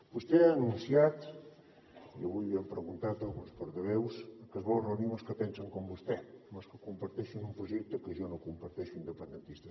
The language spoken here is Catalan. vostè ha anunciat i avui l’hi hem preguntat alguns portaveus que es vol reunir amb els que pensen com vostè amb els que comparteixen un projecte que jo no comparteixo independentista